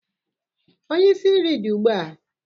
onye isi nri dị ugbu a?